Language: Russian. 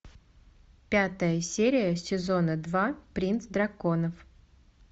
пятая серия сезона два принц драконов